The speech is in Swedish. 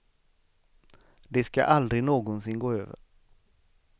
Det ska aldrig någonsin gå över.